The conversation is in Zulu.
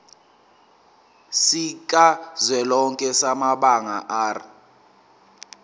sikazwelonke samabanga r